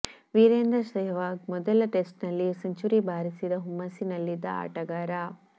ವೀರೇಂದ್ರ ಷೆಹ್ವಾಗ್ ಮೊದಲ ಟೆಸ್ಟ್ನಲ್ಲಿ ಯೇ ಸೆಂಚುರಿ ಬಾರಿಸಿದ ಹುಮ್ಮಸ್ಸಿನಲ್ಲಿದ್ದ ಆಟಗಾರ